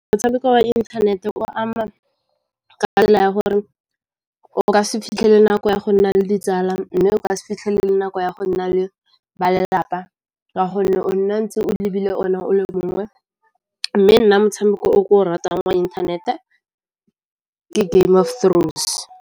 Motshameko wa inthanete o ama ya gore o ka se fitlhele nako ya go nna le ditsala mme o ka se fitlhelele nako ya go nna le ba lelapa ka gonne o nna ntse o lebile ona o le mongwe mme nna motshameko o ke o ratang wa inthanete ke Game of Thrones.